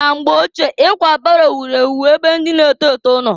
Na mgbe ochie, ikwa baro wuru ewu na-ebe ndị na-eto eto nọ.